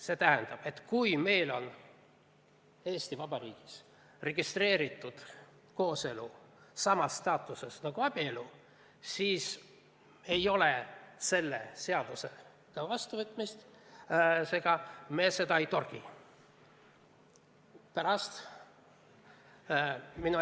See tähendab, et kui meil on Eesti Vabariigis registreeritud kooselu samas staatuses nagu abielu, siis me seda ei torgi.